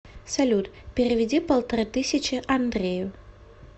салют переведи полторы тысячи андрею